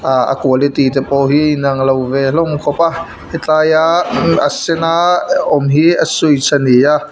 ah a quality te pawh hi a inang lo ve hlawm khawp a helai a a sen a awm hi a switch a ni a.